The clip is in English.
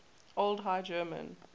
old high german